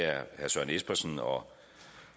er herre søren espersen og